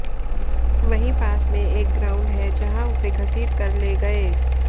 वहीं पास में एक ग्राउंड है जहां उसे घसीट कर ले गए